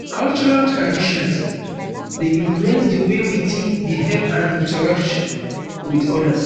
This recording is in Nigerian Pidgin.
cultural traditions dey influence di way we think behave and interact with odas